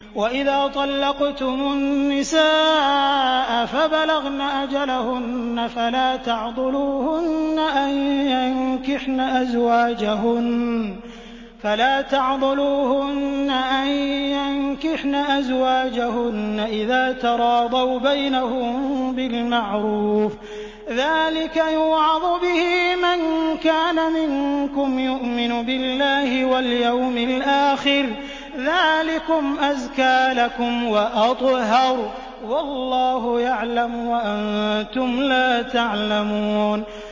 وَإِذَا طَلَّقْتُمُ النِّسَاءَ فَبَلَغْنَ أَجَلَهُنَّ فَلَا تَعْضُلُوهُنَّ أَن يَنكِحْنَ أَزْوَاجَهُنَّ إِذَا تَرَاضَوْا بَيْنَهُم بِالْمَعْرُوفِ ۗ ذَٰلِكَ يُوعَظُ بِهِ مَن كَانَ مِنكُمْ يُؤْمِنُ بِاللَّهِ وَالْيَوْمِ الْآخِرِ ۗ ذَٰلِكُمْ أَزْكَىٰ لَكُمْ وَأَطْهَرُ ۗ وَاللَّهُ يَعْلَمُ وَأَنتُمْ لَا تَعْلَمُونَ